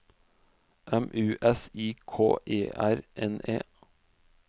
M U S I K E R N E